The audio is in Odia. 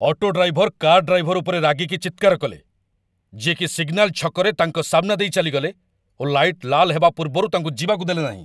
ଅଟୋ ଡ୍ରାଇଭର କାର୍ ଡ୍ରାଇଭର ଉପରେ ରାଗିକି ଚିତ୍କାର କଲେ, ଯିଏ କି ସିଗନାଲ ଛକରେ ତାଙ୍କ ସାମ୍ନା ଦେଇ ଚାଲିଗଲେ ଓ ଲାଇଟ୍ ଲାଲ୍ ହେବା ପୂର୍ବରୁ ତାଙ୍କ ଯିବାକୁ ଦେଲେନାହିଁ।